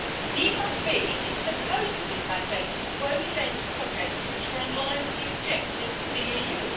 The EIB is supposedly mandated to only lend to projects which were in line with the objectives of the EU.